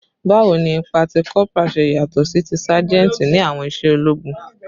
Bawo ni ipa ti corporal ṣe yatọ si ti sajenti ni awọn iṣẹ ologun?